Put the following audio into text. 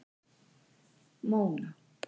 Móna